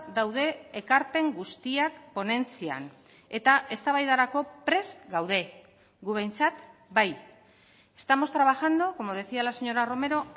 daude ekarpen guztiak ponentzian eta eztabaidarako prest gaude gu behintzat bai estamos trabajando como decía la señora romero